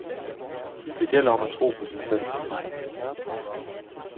Det gælder om at tro på sig selv.